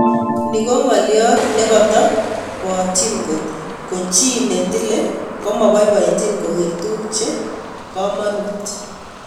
Ne ngoliot ne ketobotchin ngot ko chi ne tile koma boiboichin koger tuguk che komonut.